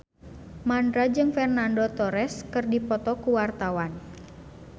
Mandra jeung Fernando Torres keur dipoto ku wartawan